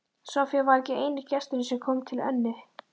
Soffía var ekki eini gesturinn sem kom til Önnu.